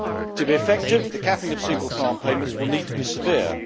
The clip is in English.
To be effective, the capping of single farm payments will need to be severe.